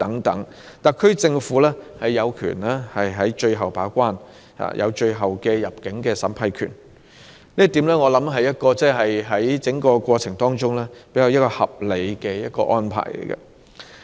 特區政府有權作最後把關，有最後的入境審批權，這一點相信是在整個過程中的一個較合理安排。